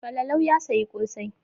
Falalau ya sayi ƙosai.